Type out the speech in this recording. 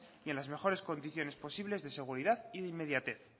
y en las mejores condiciones posibles de seguridad y de inmediatez